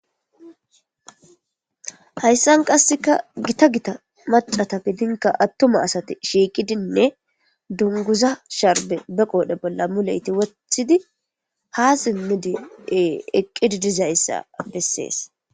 Hayssan qassekka gita gita maccakka giddinkka attuma asayi shiiqidinne dungguza sharbbe be qoodhe bolla muleytti woththidi ha simmidi eqqidi dizayssa bessishe de7eesi.